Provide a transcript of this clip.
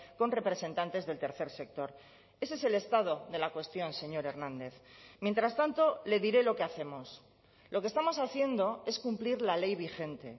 con representantes del tercer sector ese es el estado de la cuestión señor hernández mientras tanto le diré lo que hacemos lo que estamos haciendo es cumplir la ley vigente